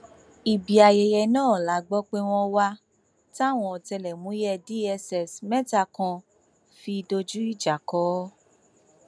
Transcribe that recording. ibi ayẹyẹ náà la gbọ pé wọn wà táwọn ọtẹlẹmúyẹ dss mẹta kan fi dojú ìjà kọ ọ